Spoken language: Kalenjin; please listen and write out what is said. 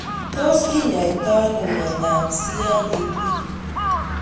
Tos kinyoitoi sno miondop CIDP